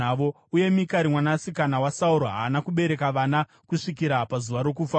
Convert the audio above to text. Uye Mikari mwanasikana waSauro haana kubereka vana kusvikira pazuva rokufa kwake.